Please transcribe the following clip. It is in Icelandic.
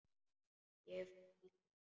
Ég fer aldrei þangað.